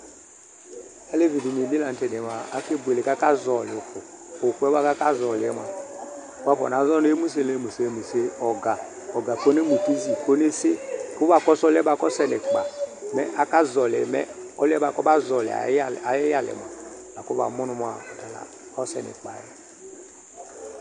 Áleviɖini bi la nu tɛ diyɛ mua ake buele, ku aka zɔli uku Ukuyɛ buaku aka zɔli yɛ mua, wakɔna zɔ nu emuselemusemuse ɔka, ɔka kɔnemutuzi kɔnese, kuba kɔsu ɔlù yɛ buaku ɔsɛ nu ikpa Mɛ aka zɔli yɛ mɛ ɔlù yɛ buaku ɔba zɔli ayu ayu iyalɛ mua, laku ba mu nu mua, ɔta la ɔsɛ nu ikpa yɛ